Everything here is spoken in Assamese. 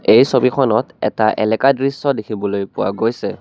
এই ছবিখনত এটা এলেকা দৃশ্য দেখিবলৈ পোৱা গৈছে।